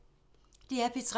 DR P3